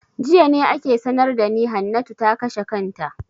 Jiya ne ake sanar da ni Hannatu ta kashe kanta.